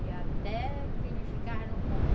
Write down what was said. E até que ele ficava no ponto.